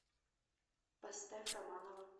поставь романова